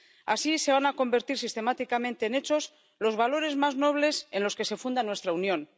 Así, se van a convertir sistemáticamente en hechos los valores más nobles en los que se funda nuestra Unión.